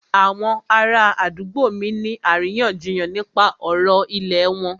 Àwọn ará àdúgbò mí ń ní àríyànjiyàn nípa ọ̀rọ̀ ìlẹ̀ wọn.